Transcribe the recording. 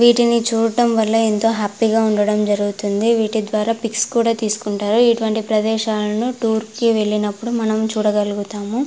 వీటిని చూడటం వళ్ళ ఏంటో హ్యాపీ గా ఉండడం జరుగుతుంది. వీటి ద్వారా పిక్స్ కూడా తీసుకుంటారు. ఇటు వంటి ప్రదేశాలను టూర్ కి వెళ్ళినప్పుడు మనము చూడగలుగుతాము.